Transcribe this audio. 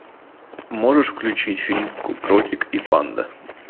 можешь включить фильм кротик и панда